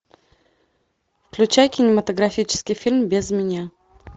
включай кинематографический фильм без меня